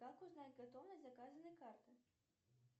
как узнать готовность заказанной карты